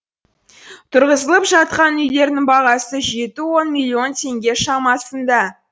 тұрғызылып жатқан үйлердің бағасы жеті он миллион теңге шамасында